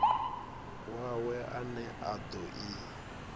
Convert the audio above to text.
wawe ane a do i